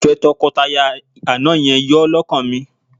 Ìfẹ́ tọkọtaya àná yẹn yọ́ lọ́kàn mi